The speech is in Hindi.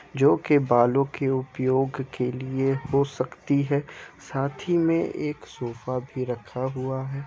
जो के बालों के उपयोग के लिए हो सकती है साथ ही में ये एक सोफ़ा भी रखा हुआ है।